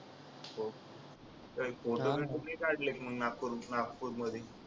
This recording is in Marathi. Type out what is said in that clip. हो काही फोटो बिटो नाही काढले का नागपूर मध्ये